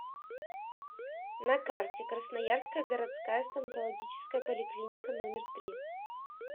на карте красноярская городская стоматологическая поликлиника номер три